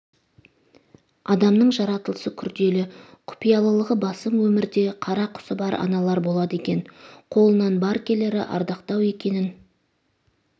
адамның жаратылысы күрделі құпиялылығы басым өмірде қарақұсы бар аналар болады екен қолынан бар келері ардақтау екенін